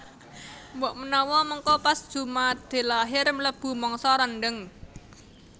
Mbok menawa mengko pas jumadilakhir mlebu mangsa rendheng